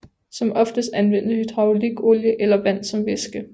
Som oftest anvendes hydraulikolie eller vand som væske